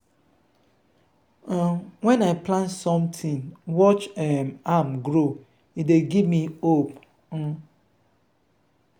um wen i plant sometin watch um am grow e dey give me hope. um